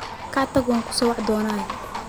Kaac tag wankusowicidona.